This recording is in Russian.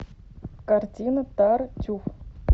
картина тартюф